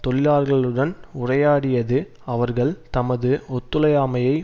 தொழிலாளர்களுடன் உரையாடியது அவர்கள் தமது ஒத்துழையாமையை